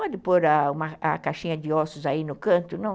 pode pôr a caixinha de ossos aí no canto, não?